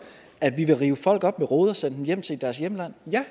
at vi vil rive folk op med rode og sende dem hjem til deres hjemland jo